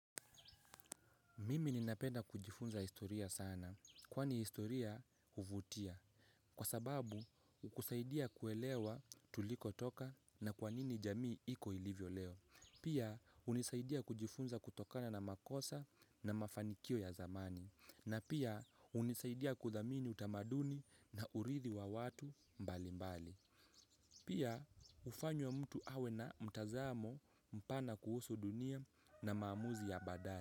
Mimi ninapenda kujifunza historia sana, kwani historia huvutia. Kwa sababu, hukusaidia kuelewa tuliko toka na kwanini jamii iko ilivyo leo. Pia, unisaidia kujifunza kutokana na makosa na mafanikio ya zamani. Na pia, hunisaidia kuthamini utamaduni na urithi wa watu mbali mbali. Mimi ninapenda kujifunza historia sana, kwani historia huvutia.